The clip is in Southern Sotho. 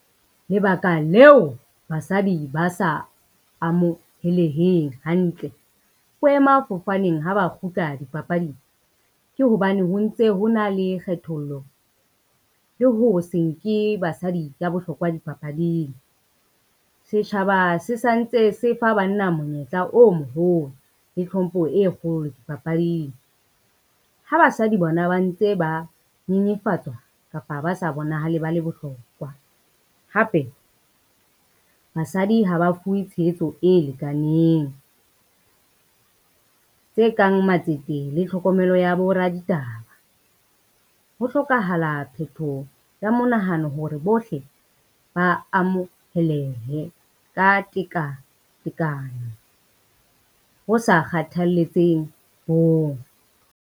Lebaka leo basadi ba sa amoheleheng hantle boemafofaneng ha ba kgutla dipapading, ke hobane ho ntse ho na le kgethollo le ho se nke basadi ka bohlokwa dipapading. Setjhaba se santse se fa banna monyetla o moholo le tlhompho e kgolo dipapading, ha basadi bona ba ntse ba nyenyefatswa kapa ba sa bonahale ba le bohlokwa. Hape basadi ha ba fuwe tshehetso e lekaneng, tse kang matsete le tlhokomelo ya bo raditaba. Ho hlokahala phethoho ya monahano hore bohle ba amohelehe ka tekatekano ho sa kgathaletseheng bong.